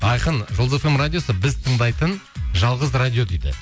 айқын жұлдыз эф эм радиосы біз тыңдайтын жалғыз радио дейді